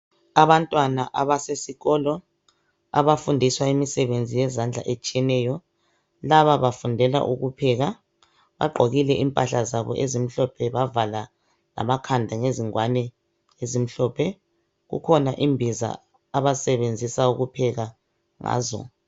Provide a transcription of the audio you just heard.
Abantwana abasesikolo abafundiswa imisebenzi yezandla etshiyeneyo laba bafundela ukupheka bagqokile impahla zabo ezimhlophe bavala lamakhanda ngezingwane ezimhlophe kukhona imbiza abasebenzisa ukupheka ngazo.